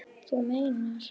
Þú meinar!